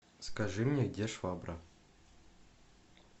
скажи мне где швабра